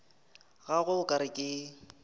gagwe o ka re ke